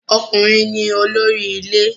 Ọkùnrin ni olórí ilé